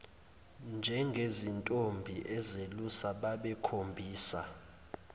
njengezintombi ezelusa babekhombisa